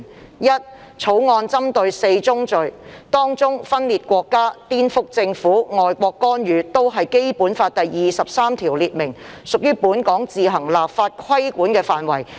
第一，《決定》針對4宗罪，當中分裂國家、顛覆政府、外國干預均是《基本法》第二十三條列明，屬於本港自行立法規管的範圍。